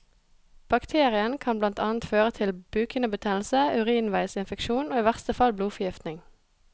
Bakterien kan blant annet føre til bukhinnebetennelse, urinveisinfeksjon og i verste fall blodforgiftning.